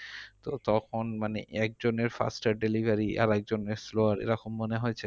তো তখন মানে একজনের faster delivery আরেকজনের slow এরকম মনে হয়েছে?